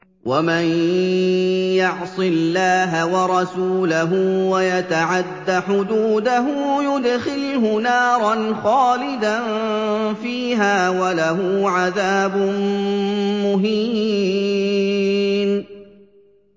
وَمَن يَعْصِ اللَّهَ وَرَسُولَهُ وَيَتَعَدَّ حُدُودَهُ يُدْخِلْهُ نَارًا خَالِدًا فِيهَا وَلَهُ عَذَابٌ مُّهِينٌ